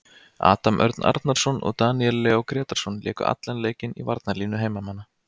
Adam Örn Arnarson og Daníel Leó Grétarsson léku allan leikinn í varnarlínu heimamanna.